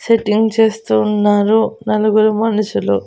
Setting చేస్తూ ఉన్నారు నలుగురు మనుషులు.